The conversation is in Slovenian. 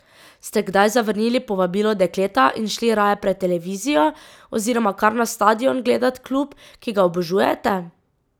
Ste kdaj zavrnili povabilo dekleta in šli raje pred televizijo oziroma kar na stadion gledat klub, ki ga obožujete?